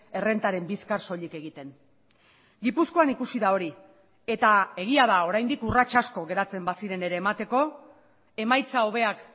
errentaren bizkar soilik egiten gipuzkoan ikusi da hori eta egia da oraindik urrats asko geratzen baziren ere emateko emaitza hobeak